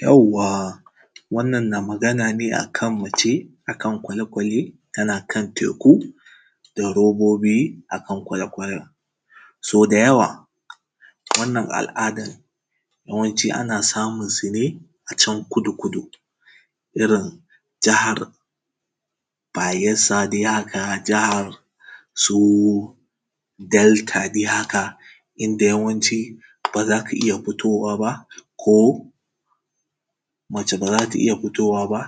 yawwa wannan na magana ne a kan mace a kan kwale kwale tana kan teku da robobi a kan kwale kwalen sau da yawa wannan al’adar yawanci ana samunsu ne a kudu kudu irin jihar bayelsa dai haka jihar su delta dai haka inda yawanci dai ba za ka iya fitowa ba ko mace ba za ta iya fitowa ba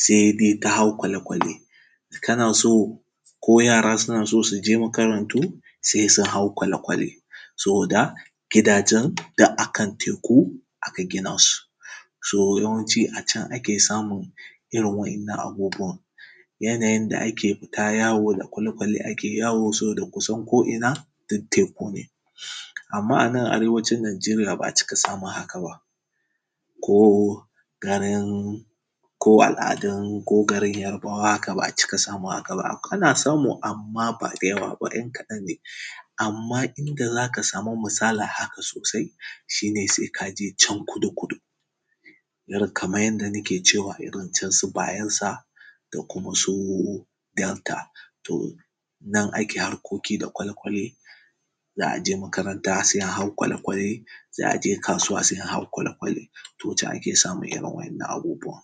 sai dai ta hau kwale kwale kana so ko yara suna so su je makarantu sai su hau kwale kwale saboda gidajen duk a kan teku aka gina su so yawanci a can ake samun irin waɗannan abubuwan yanayin da ake fita yawo da kwale kwale ake yawo saboda kusan ko ina duk teku ne amma a nan arewacin nigeria ba a cika samun haka ba ko garin ko al’adun ko garin yarbawa haka ba a cika samun haka ba ana samu amma ba da yawa ba ‘yan kaɗan ne amma inda za ka samu misalin haka sosai shi ne sai ka je can kudu kudu irin kamar yadda nake cewa irin can su bayelsa da kuma su delta to nan ake harkoki da kwale kwale za a je makaranta sai a hau kwale kwale za a je kasuwa sai a hau kwale kwale to can ake samun irin wannan abubuwan